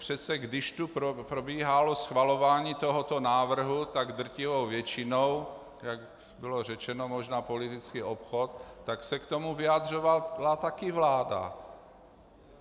Přece když tu probíhalo schvalování tohoto návrhu tak drtivou většinou - jak bylo řečeno, možná politický obchod -, tak se k tomu vyjadřovala taky vláda.